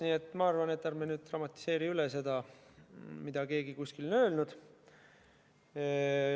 Nii et ma arvan, et ärme dramatiseerime üle seda, mida keegi on kuskil öelnud.